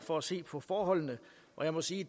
for at se på forholdene og jeg må sige